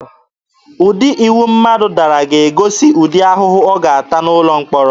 Ụdị iwu mmadụ dara ga-egosi ụdị ahụhụ ọ ga-ata n'ụlọ mkpọrọ.